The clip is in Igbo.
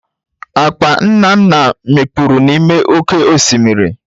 Akpa Nnanna mikpuru n'ime oke osimiri.